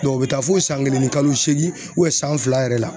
o be taa fo san kelen ni kalo seegin san fila yɛrɛ la.